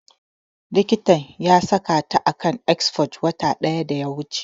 Likitan ya saka ta a kan exforge wata ɗaya da ya wuce